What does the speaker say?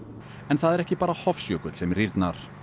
en það er ekki bara Hofsjökull sem rýrnar